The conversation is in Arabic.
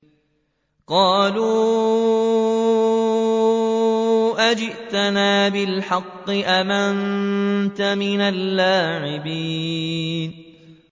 قَالُوا أَجِئْتَنَا بِالْحَقِّ أَمْ أَنتَ مِنَ اللَّاعِبِينَ